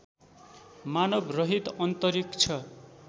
मानव रहित अन्तरिक्ष